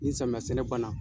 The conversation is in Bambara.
Ni samiya sɛnɛ ban na.